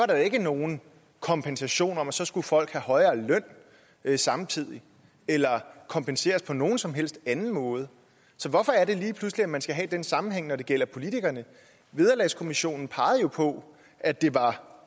der jo ikke nogen kompensation til at så skulle folk have højere løn samtidig eller kompenseres på nogen som helst anden måde så hvorfor er det lige pludselig at man skal have den sammenhæng når det gælder politikerne vederlagskommissionen pegede jo på at det var